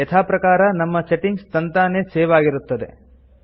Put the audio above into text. ಯಥಾ ಪ್ರಕಾರ ನಮ್ಮ ಸೆಟ್ಟಿಂಗ್ಸ್ ತಂತನೇ ಸೇವ್ ಆಗಿರುತ್ತದೆ